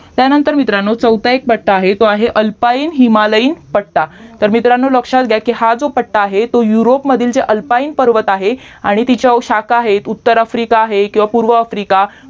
त्यानंतर मित्रांनो चौथा एक पट्टा आहे तो आहे अल्पाइन हिमालयीन पट्टा तर मित्रांनो लक्ष्यात घ्या की हा जो पट्टा आहे जो युरोपमधील अल्फाइन जे पर्वत आहे आणि तिच्या शाखा आहेत उत्तर आफ्रिका आहे किवहा पूर्वा आफ्रिका